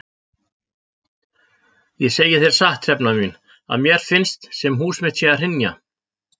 Ég segi þér satt Hrefna mín að mér finnst sem hús mitt sé að hrynja.